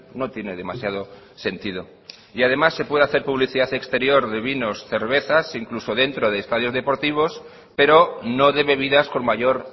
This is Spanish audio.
no tiene demasiado sentido y además se puede hacer publicidad exterior de vinos y cervezas e incluso dentro de estadios deportivos pero no de bebidas con mayor